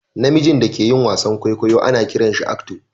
Na mijin da ke yin wasan kwaikwayo ana kiran shi "actor"